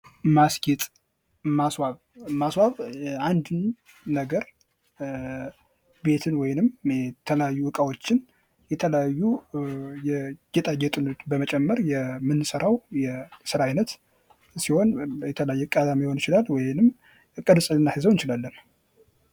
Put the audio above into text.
ማስጌጥ ማስዋብ ማስዋብ አንድን ነገር ቤትን ወይም የተለያዩ እቃዎችን የተለያዩ ጌጣጌጦች በመጨመር የየምሰራው ሰራው የስራ አይነት ሲሆን የተለያየ የቀለም ሊሆን ይችላ ወይም ቅርጽና ልናሲዘው የእንችላለን::